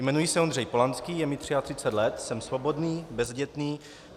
Jmenuji se Ondřej Polanský, je mi 33 let, jsem svobodný, bezdětný.